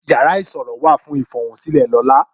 Yàrá ìṣòro wà fún ifohunsile lola